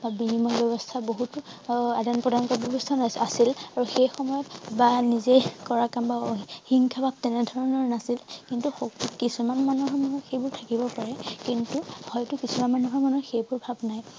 বা বিনিময় ব্যৱস্থা বহুতো আদান প্ৰদান ব্যৱস্থা নাছিল আছিল আৰু সেই সময়ত বা নিজেই কৰাম হিংসা ভাৱ তেনেধৰণৰ নাছিল কিন্তু সক কিছুমান মানুহৰ মাজত সেইবোৰ থাকিব পাৰে কিন্তু হয়তো কিছুমান মানুহৰ মনত সেইবোৰ ভাৱ নাই